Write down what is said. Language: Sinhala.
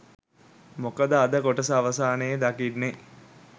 මොකද අද කොටස අවසානයේ දකින්නේ